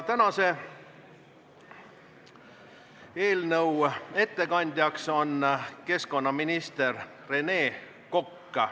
Tänase eelnõu ettekandjaks on keskkonnaminister Rene Kokk.